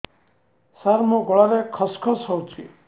ସାର ମୋ ଗଳାରେ ଖସ ଖସ ହଉଚି